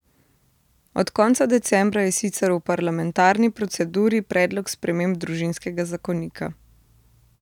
Od konca decembra je sicer v parlamentarni proceduri predlog sprememb družinskega zakonika.